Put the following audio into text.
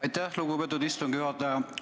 Aitäh, lugupeetud istungi juhataja!